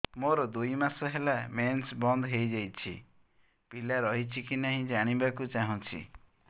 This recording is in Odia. ମୋର ଦୁଇ ମାସ ହେଲା ମେନ୍ସ ବନ୍ଦ ହେଇ ଯାଇଛି ପିଲା ରହିଛି କି ନାହିଁ ଜାଣିବା କୁ ଚାହୁଁଛି